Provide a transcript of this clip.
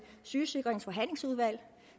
sygesikringens forhandlingsudvalg